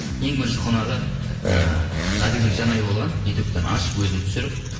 ең бірініші қонағы ы ғаділбек жанай болған ютубтан ашып өзім түсіріп